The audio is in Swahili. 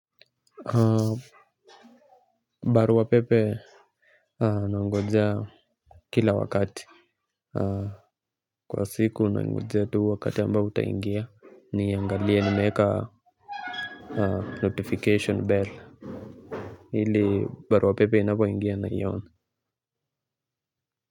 Barua pepe, nangojea kila wakati kwa siku, nangojea tu wakati ambapo utaingia, niangalie nimeweka notification bell. Ili barua pepe inapoingia niione.